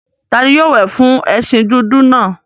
Ta ni yóò wẹ̀ fún ẹṣin dúdú náà?